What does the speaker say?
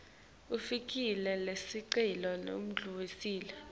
kufaka sicelo sekudlulisela